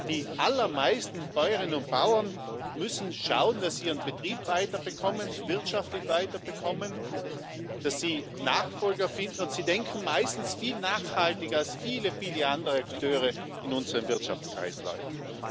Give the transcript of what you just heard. Die allermeisten Bäuerinnen und Bauern müssen schauen, dass sie ihren Betrieb weiter bekommen, wirtschaftlich weiter bekommen, dass sie Nachfolger finden, und sie denken meistens viel nachhaltiger als viele, viele andere Akteure in unseren Wirtschaftskreisläufen.